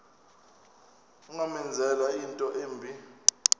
ungamenzela into embi